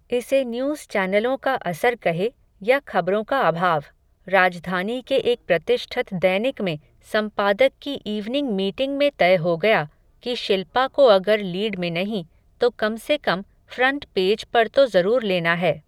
इसे न्यूज़ चैनलों का असर कहे, या खबरों का अभाव, राजधानी के एक प्रतिष्ठत दैनिक में संपादक की इवनिंग मीटिंग में तय हो गया, कि शिल्पा को अगर लीड में नहीं, तो कम से कम, फ़्रंट पेज पर तो ज़रूर लेना है